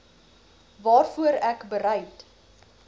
waarvoor ek bereid